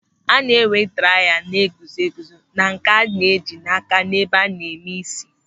A na-enwe draiya na-eguzo eguzo na nke a na-eji n'áká n'ebe a na-eme ísí.